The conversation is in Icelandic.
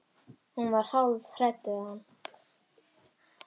Hún var hálf hrædd við hann.